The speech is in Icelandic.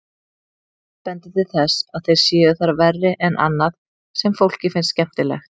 Fátt bendir til þess að þeir séu þar verri en annað sem fólki finnst skemmtilegt.